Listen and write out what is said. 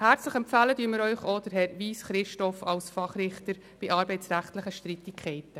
Herzlich empfehlen wir Ihnen Herrn Christoph Wyss als Fachrichter bei arbeitsrechtlichen Streitigkeiten.